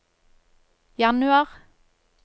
januar